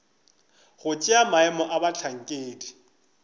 go tšea maemo a bohlankedi